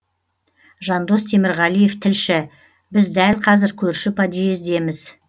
жандос темірғалиев тілші біз дәл қазір көрші подъездеміз